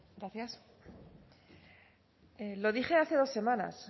gracias lo dije hace dos semanas